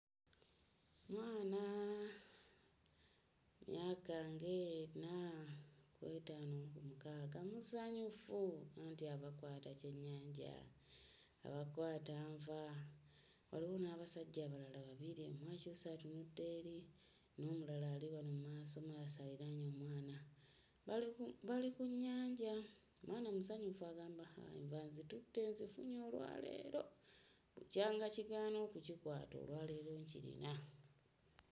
Mwana myaka ng'ena ku etaano ku mukaaga; musanyufu anti ava kkwata kyennyanja, ava kkwata nva. Waliwo n'abasajja abalala babiri, omu akyuse atunudde eri, n'omulala ali wano mu maasomaaso aliraanye omwana. Bali ku bali ku nnyanja, omwana musanyufu agamba enva nzitutte nzifunye olwaleero, bukyanga kigaana okukikwata olwaleero nkirina.